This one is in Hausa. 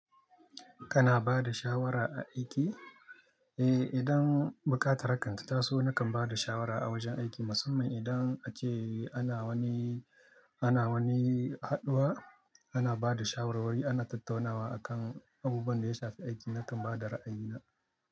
Kana ba da shawara a aiki? Eh, idan buƙatar hakan ta taso, nakan ba da shawara a wajen aiki. Musamman idan ace ana wani, ana wani haɗuwa, ana ba da shawarwari, ana tattaunawa akan abubuwan da ya shafi aiki, na kan ba da ra'ayina.